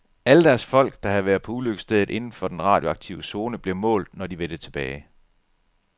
Alle deres folk, der havde været på ulykkesstedet inden for den radioaktive zone, blev målt, når de vendte tilbage.